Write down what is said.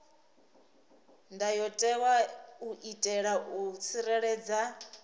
ndayotewa u itela u tsireledza